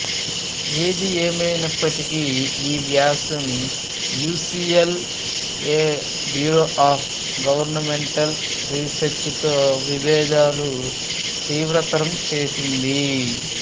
ఏది ఏమయినప్పటికీ ఈ వ్యాసం U C L A bureau of governmental రీసెర్చితో విభేదాలను తీవ్రతరం చేసింది